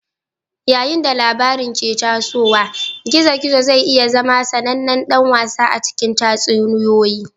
Yayin da labarin ke tasowa, gizo-gizo zai iya zama sanannen dan wasa a cikin tatsuniyoyi.